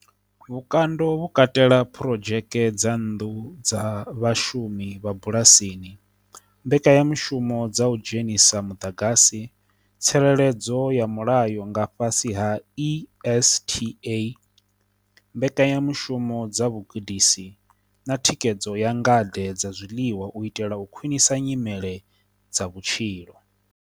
Vhukando vhu katela phurodzheke dza nnḓu dza vhashumi vha bulasini, mbekanyamushumo dza u dzhenisa muḓagasi, tsireledzo ya mulayo nga fhasi ha ESTA mbekanyamushumo dza vhugudisi, na thikhedzo ya ngade dza zwiḽiwa u itela u khwinisa nyimele dza vhutshilo.